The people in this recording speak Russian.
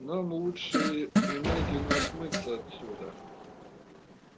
нам лучше немедленно смыться отсюда